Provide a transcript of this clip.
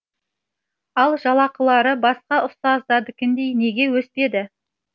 ал жалақылары басқа ұстаздардікіндей неге өспеді